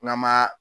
N'an ma